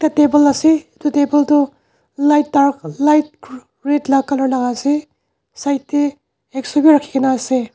table ase edu table tu light dark light r red la color la ase side de hack saw b rakhi gina ase.